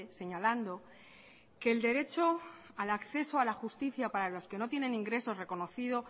señalando que el derecho al acceso a la justicia para los que no tienen ingresos reconocido